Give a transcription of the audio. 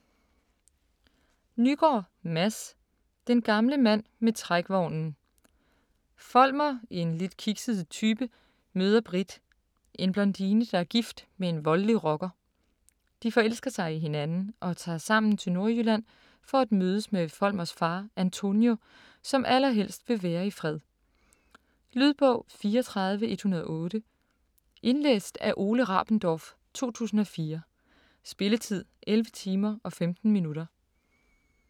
Nygaard, Mads: Den gamle mand med trækvognen Folmer, en lidt kikset type, møder Britt, en blondine der er gift med en voldelig rocker. De forelsker sig i hinanden, og tager sammen til Nordjylland for at mødes med Folmers far, Antonio, som allerhelst vil være i fred. Lydbog 34108 Indlæst af Ole Rabendorf, 2004. Spilletid: 11 timer, 15 minutter.